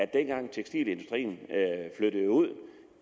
dengang tekstilindustrien flyttede ud